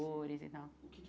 e tal O que que